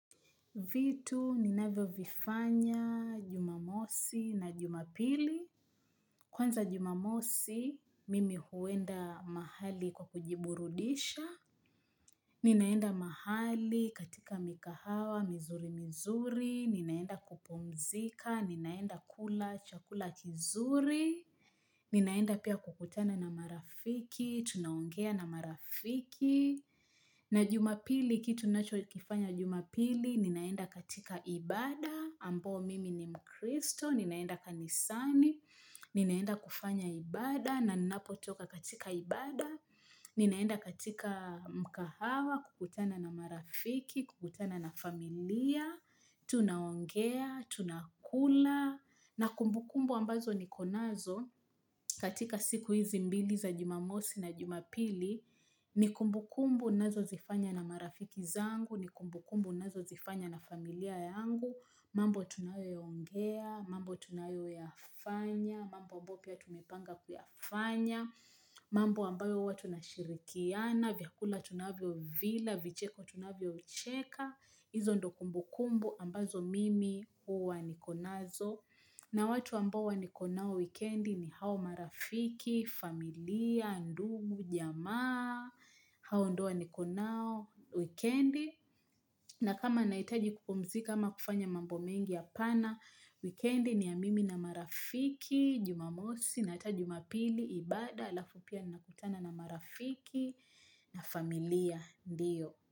Vitu ninavyo vifanya jumamosi na jumapili. Kwanza jumamosi, mimi huenda mahali kwa kujiburudisha. Ninaenda mahali katika mikahawa, mizuri mizuri. Ninaenda kupumzika, ninaenda kula, chakula kizuri. Ninaenda pia kukutana na marafiki, tunaongea na marafiki. Na jumapili, kitu ninacho kifanya jumapili, ninaenda katika ibada, ambo mimi ni mkristo, ninaenda kanisani, ninaenda kufanya ibada, na ninapotoka katika ibada, ninaenda katika mkahawa, kukutana na marafiki, kukutana na familia, tunaongea, tunakula. Na kumbu kumbu ambazo niko nazo katika siku hizi mbili za jumamosi na jumapili, ni kumbu kumbu nazo zifanya na marafiki zangu, ni kumbu kumbu nazo zifanya na familia yangu, mambo tunayo ya ongea, mambo tunayo ya fanya, mambo ambayo pia tumepanga kuyafanya, mambo ambayo huwa tunashirikiana, vyakula tunavyo vila, vicheko tunavyo cheka, hizo ndo kumbu kumbu ambazo mimi huwa niko nazo. Na watu ambao wa niko nao wikendi ni hao marafiki, familia, ndugu, jamaa, hao ndoa niko nao wikendi. Na kama nahitaji kupumzika ama kufanya mambo mengi apana wikendi ni ya mimi na marafiki, jumamosi, nata hata jumapili, ibada, alafu pia nina kutana na marafiki, na familia, ndiyo.